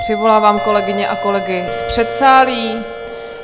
Přivolávám kolegyně a kolegy z předsálí.